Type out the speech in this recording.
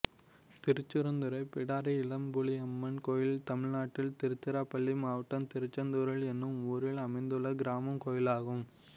திருச்செந்துறை பிடாரி இளம்புலியம்மன் கோயில் தமிழ்நாட்டில் திருச்சிராப்பள்ளி மாவட்டம் திருச்செந்துறை என்னும் ஊரில் அமைந்துள்ள கிராமக் கோயிலாகும்